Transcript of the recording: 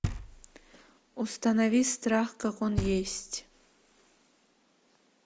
установи страх как он есть